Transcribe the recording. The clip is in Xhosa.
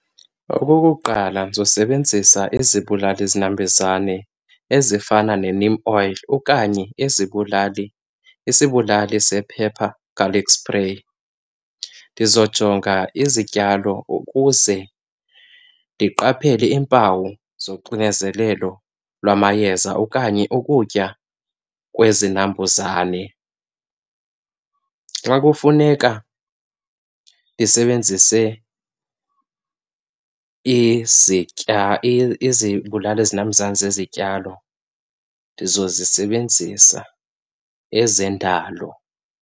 Okokuqala ndizosebenzisa izibulali zinambuzane ezifana ne-neem oil okanye izibulali, isibulali sephepha, garlic spray. Ndizojonga izityalo ukuze ndiqaphele iimpawu zoxinezelelo lwamayeza okanye ukutya kwezinambuzane. Xa kufuneka ndisebenzise izitya izibulali zinambuzane zezityalo, ndizozisebenzisa ezendalo.